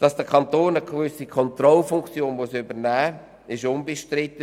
Dass der Kanton eine gewisse Kontrollfunktion übernehmen muss, ist unbestritten.